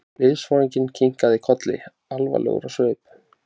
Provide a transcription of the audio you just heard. Liðsforinginn kinkaði kolli, alvarlegur á svip.